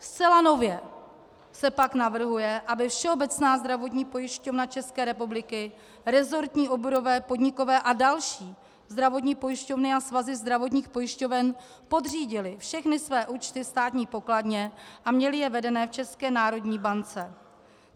Zcela nově se pak navrhuje, aby Všeobecná zdravotní pojišťovna České republiky, resortní, oborové, podnikové a další zdravotní pojišťovny a svazy zdravotních pojišťoven podřídily všechny své účty Státní pokladně a měly je vedené v České národní bance.